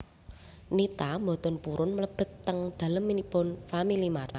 Nita mboten purun mlebet teng dalemipun FamilyMart